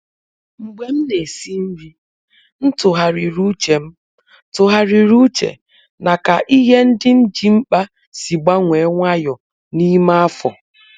Mgbe m na-esi nri, m tụgharịrị uche m tụgharịrị uche na ka ihe ndị m ji mkpa si gbanwee nwayọọ n’ime afọ.